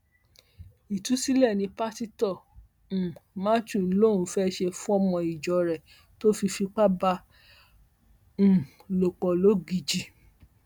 ìtúsílẹ ní pásítọ um matthew lòún fẹẹ ṣe fọmọ ìjọ rẹ tó fi fipá bá a um lò pọ lọgíjì